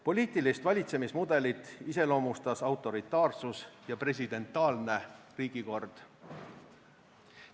Poliitilist valitsemismudelit iseloomustas autoritaarsus ja presidentaalne riigikord.